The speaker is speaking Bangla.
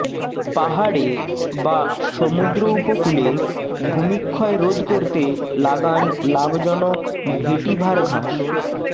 পাহাড়ে বা সমুদ্র উপকূলে ভুমিক্ষয় রোধ করতে লাগান লাভজনক ভেটিভার ঘাস